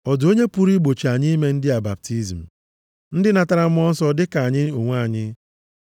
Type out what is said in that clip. “Ọ dị onye pụrụ igbochi anyị ime ndị a baptizim. Ndị natara Mmụọ Nsọ dị ka anyị onwe anyị?”